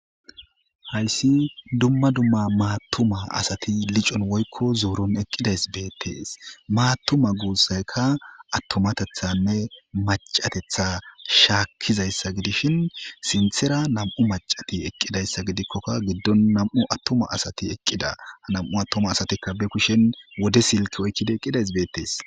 Hayssi dumma dumma maattuma asati licon woykko zooron eqqidays beettees maattuma guussaykka attomatethanne macatetha shaakkizayssa gidishin sinthera nam7u macati eqqidayssa gidikkoka giddon nam7u attuma asati eqqida ha nam7u attuma asatikka be kushen wode silki oykkida eqqidays beettees.